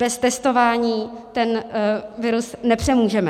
Bez testování ten virus nepřemůžeme.